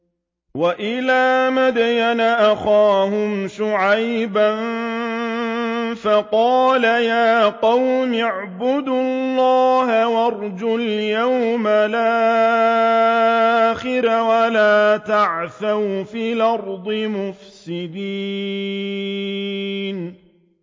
وَإِلَىٰ مَدْيَنَ أَخَاهُمْ شُعَيْبًا فَقَالَ يَا قَوْمِ اعْبُدُوا اللَّهَ وَارْجُوا الْيَوْمَ الْآخِرَ وَلَا تَعْثَوْا فِي الْأَرْضِ مُفْسِدِينَ